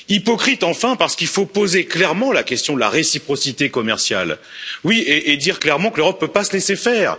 Hypocrite, enfin, parce qu'il faut poser clairement la question de la réciprocité commerciale et dire clairement que l'Europe ne peut pas se laisser faire.